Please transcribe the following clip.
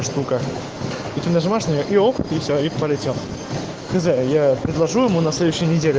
нажимаешь на нее и все и полетел я предложу ему на следующий